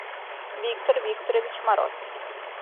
виктор викторович мороз